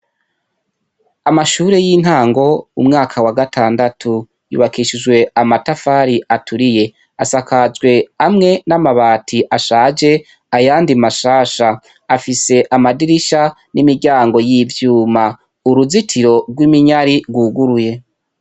Amashuri y'intango mumwaka wagatandatu yubakishijwe amatafari aturiye asakajwe amwe n'amabati ashaje ayandi mashasha. Afise amadirisha n'imiryango y'ivyuma, uruzitiro gw'iminyari gwuguruye.